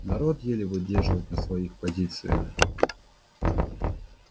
народ еле выдерживает на своих позициях